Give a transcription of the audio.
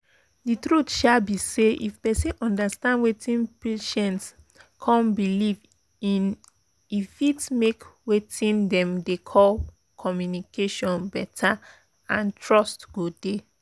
the truth um be say if persin understand weting patient um believe in e fit make weting dem dey call pause communication better and trust go dey.